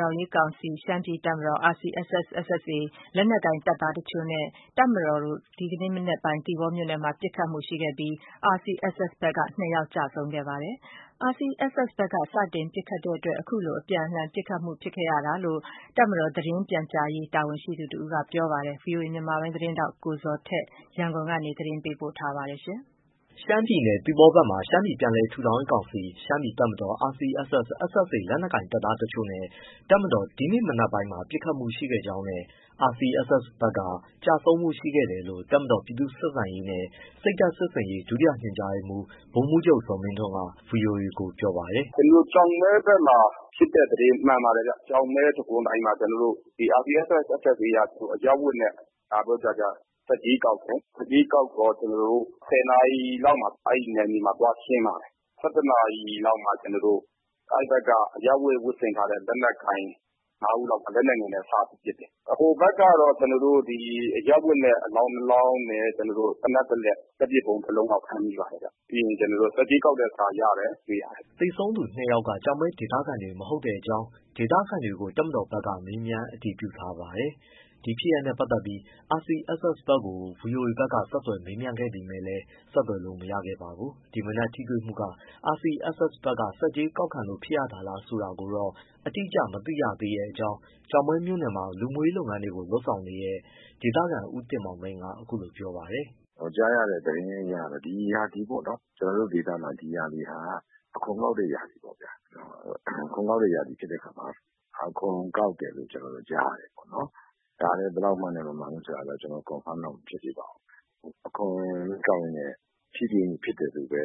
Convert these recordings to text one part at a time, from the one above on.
ထောင်ရေးကောင်စီ/ရှမ်းပြည်တပ်မတော် RCSS/SSA လက်နက်ကိုင်တပ်သား တချို့နဲ့ မြန်မာစစ်တပ် အကြား ဒီကနေ့မနက်ပိုင်း သီပေါမြို့နယ်မှာ ပစ်ခတ်မှုရှိခဲ့ပြီး RCSS ဘက်က ၂ယောက်ကျဆုံးခဲ့တယ်လို့ မြန်မာစစ်တပ်ဘက်က ပြောပါတယ်။ ဒါဟာ RCSS ဘက်က စတင်ပစ်ခတ်တဲ့အတွက် အခုလိုအပြန်အလှန် ပစ်ခတ်မှုဖြစ်ပွားခဲ့တာလို့လည်း တပ်မတော် သတင်းပြန်ကြားရေး တာဝန်ရှိသူတစ်ဦးကပြောပါတယ်။ ဒီအကြောင်း ဆက်သွယ်မေးမြန်းထားတဲ့ ဗွီအိုအေ မြန်မာပိုင်းသတင်းထောက် ကိုဇော်ထက် ရန်ကုန်ကနေ ပေးပို့ထားပါတယ်။ ရှမ်းပြည်နယ်၊ သီပေါမြို့နယ်ဘက်မှာ ရှမ်းပြည်ပြန်လည်ထူထောင်ရေးကောင်စီ/ှရှမ်းပြည်တပ်မတော် RCSS/SSA လက်နက်ကိုင်တပ်သားတချို့နဲ့ တပ်မတော် ဒီနေ့မနက်ပိုင်းမှာ ပစ်ခတ်မှုရှိခဲ့ကြောင်းနဲ့ RSCC ဘက်က ကျဆုံးမှုရှိခဲ့တယ်လို့ တပ်မတော် ပြည်သူ့ဆက်ဆံရေးနဲ့ စိတ်ဓာတ်စစ်ဆင်ရေး ဒုညွှန်ကြားရေးမှူး ဗိုလ်မှူးချုပ်ဇော်မင်းထွန်းက ဗွီအိုအေကို ပြောပါတယ်။ “ကျနော်တို့ ကျောက်မဲဘက်မှာ ဖြစ်တဲ့သတင်းမှန်ပါတယ်ဗျ။ ကျောက်မဲတံခွန်တိုင်မှာ ကျနော်တို့ RCSS/SSA က အရပ်ဝတ်နဲ့ လာပြီးဆတ်ကြေး ကောက်တယ်၊ ဆတ်ကြေးကောက်တော့ ကျနော်တို့ ၁၀နာရီလောက်မှာ အဲဒီနယ်မြေမှာသွားရှင်းပါတယ်။ ၁၁နာရီ လောက်မှာ ကျနော်တို့ အဲဒီဘက်က အရပ်ဝတ် ဝတ်ဆင်ထားတဲ့ လက်နက်ကိုင် ငါးဦးလောက်က လက်နက်ငယ်နဲ့စပစ်တယ်။ ဟိုဘက်ကတော့ အရပ်ဝတ်နဲ့ အလောင်းနှစ်လောင်းနဲ့ သေနတ်တစ်လက်၊ လက်ပစ်ဗုံးတစ်လုံးလောက် ဖမ်းမိပါတယ်ဗျ။ ပြီးရင်ကျနော်တို့ ဆတ်ကြေးကောက်တဲ့ စာရတယ်။” သေဆုံးသူနှစ်ယောက်က ကျောက်မဲဒေသခံတွေ မဟုတ်တဲ့အကြောင်း ဒေသခံတွေကို တပ်မတော်ဘက် က မေးမြန်းပြီး အတည်ပြုနိုင်တဲ့အကြောင်းလည်း သူက ပြောပါတယ်။ ဒီအခြေအနေတွေနဲ့ ပတ်သက်လို့ RCSS/SSA ဘက်ကို ဗွီအိုအေက ဆက်သွယ်ပေမယ့်လည်း ဆက်သွယ်လို့မရခဲ့ပါဘူး။ ဒီမနက်တိုက်ပွဲဟာ စစ်တပ်ဘက်က စွပ်စွဲသလို RCSS ဘက်က ဆတ်ကြေးကောက်ခံလို့ဖြစ်ရတာလားဆိုတာ အတိအကျ မသိနိုင်ဘူးလို့ ကျောက်မဲမြို့နယ်မှာ လူမှုရေးလုပ်ငန်းတွေကို လုပ်ဆောင်နေတဲ့ ဒေသခံ ဦးတင်မောင်သိန်းက အခုလိုပြောပါတယ်။ “ကြားရတဲ့သတင်းအရတော့ ဒီရာသီပေါ့နော် ကျနော်တို့ဒေသမှာ အခွန်ကောက်တဲ့ရာသီပေါ့။ အခွန်ကောက်တဲ့ ရာသီဖြစ်တဲ့အခါမှာ အခွန်ကောက်တယ် လို့ကျနော်တို့ကြားရတာပေါ့။ ဒါကလည်း ဘယ်လောက်မှန်တယ်၊ မမှန်ဘူဆိုတာတော့ ကျနော် confirm တော့မဖြစ်သေးပါဘူး။ အခွန်ကောက်ရင်း နဲ့ ထိတွေ့မှု ဖြစ်တယ်လို့ပဲ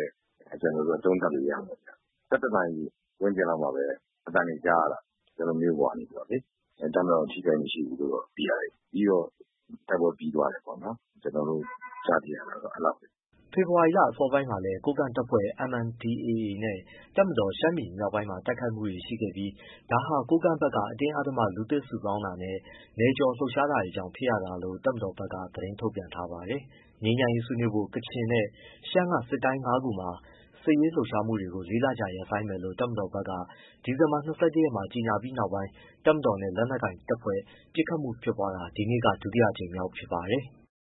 ကျနော်တို့က သုံးသပ်လို့ရမယ်ဗျ။ ၁၁နာရီဝန်းကျင် လောက်မှာပဲ အသံတွေကြားရတာ၊ ကျနော်တို့မြို့ပေါ်ကနေလေ။ တပ်မတော် ထိခိုက်မှုမရှိဘူး လို့သိရတယ်။ ပြီးတော့ တိုက်ပွဲပြီးသွားတယ်ပေါ့။ ကျနော်တို့ ကြားသိရတာတော့ အဲဒီလောက်ပဲ။” ဖေဖော်ဝါရီလ အစောပိုင်းမှာလည်း ကိုးကန့်တပ်ဖွဲ့ MNDAA နဲ့ တပ်မတော် ရှမ်းပြည်မြောက်ပိုင်းမှာ တိုက်ခိုက်မှုတွေရှိခဲ့ပြီး ဒါဟာကိုးကန့်ဘက်က အတင်း အဓမ္မလူသစ် စုဆောင်းတာနဲ့ နယ်ကျော် လှုပ်ရှားတာတွေ ကြောင့်ဖြစ်ရတာလို့ တပ်မတော်ဘက်က သတင်းထုတ်ပြန်ထားပါတယ်။ ငြိမ်းချမ်းရေး ဆွေးနွေးဖို့ ကချင်နဲ့ ရှမ်းက စစ်တိုင်း ငါးခုမှာ စစ်ရေးလှုပ်ရှားမှုတွေ လေးလ ကြာရပ်ဆိုင်းမယ်လို့ တပ်မတော်က ဒီဇင်ဘာ ၂၁ရက်မှာ ကြေညာပြီးနောက်ပိုင်း တပ်မတော်နဲ့ လက်နက်ကိုင်တပ်ဖွဲ့ ပစ်ခတ်မှုဖြစ်ပွားတာ ဒီနေ့က ဒုတိယအကြိမ်မြောက်ဖြစ်ပါတယ်။